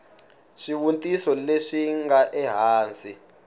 swivutiso leswi swi nga ehansi